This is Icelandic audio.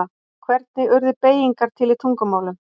Hvernig urðu beygingar til í tungumálum?